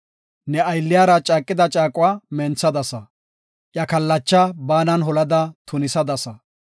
Ne aylliyara caaqida caaquwa menthadasa; iya kallachaa baanan holada tunisadasa.